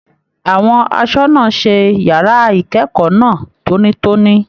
Àwọn asọna ṣe yàrá ikẹkọọ náà tónítóní.